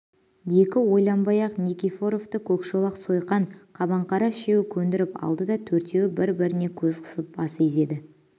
екі ойланбай-ақ никифоровты көкшолақ сойқан қабаңқара үшеуі көндіріп алды да төртеуі бір-біріне көз қысып бас изеді